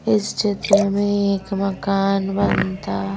इस चित्र में एक मकान बनता--